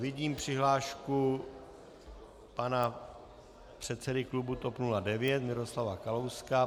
Vidím přihlášku pana předsedy klubu TOP 09 Miroslava Kalouska.